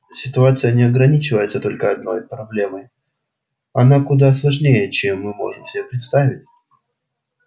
ситуация не ограничивается одной только проблемой она куда сложнее чем мы можем себе представить